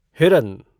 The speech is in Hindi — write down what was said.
हिरन